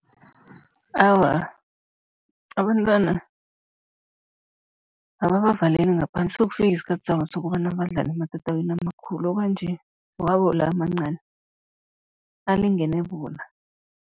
Awa, abantwana ababavaleli ngaphandle, sizokufika isikhathi sabo sokobana badlale ematatawini amakhulu, kwanje wabo la amancani alingene bona.